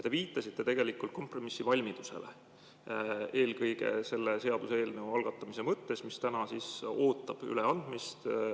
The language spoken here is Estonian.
Te viitasite kompromissivalmidusele eelkõige selle seaduseelnõu algatamise mõttes, mis täna ootab üleandmist.